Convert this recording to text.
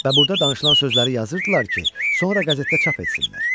Və burda danışılan sözləri yazırdılar ki, sonra qəzetdə çap etsinlər.